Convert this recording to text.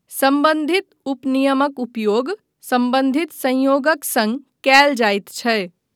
सम्बन्धित उपनियमक उपयोग सम्बन्धित संयोगक सङ्ग कयल जायत छै।